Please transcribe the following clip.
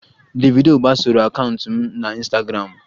Davido gbasoro akaụntụ m na Ịnstagramụ